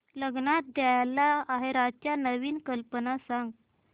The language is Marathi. लग्नात द्यायला आहेराच्या नवीन कल्पना सांग